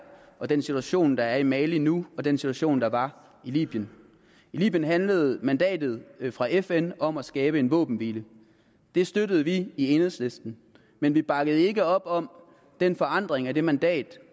og den situation der er i mali nu og så den situation der var i libyen i libyen handlede mandatet fra fn om at skabe en våbenhvile det støttede vi i enhedslisten men vi bakkede ikke op om den forandring af det mandat